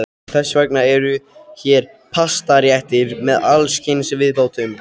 Þess vegna eru hér pastaréttir með alls kyns viðbótum.